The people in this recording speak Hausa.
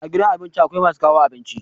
A gidan abinci akwai masu kawo abinci.